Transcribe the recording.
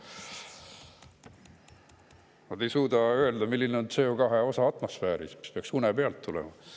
Nad ei suuda öelda, milline on CO2 osa atmosfääris, mida peaks une pealt oskama öelda.